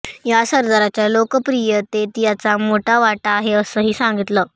या सदराच्या लोकप्रियतेत याचा मोठा वाटा आहे असंही सांगितलं